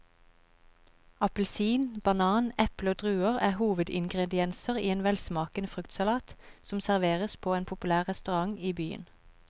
Appelsin, banan, eple og druer er hovedingredienser i en velsmakende fruktsalat som serveres på en populær restaurant i byen.